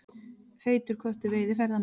Feitur köttur veiði ferðamenn